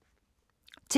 TV 2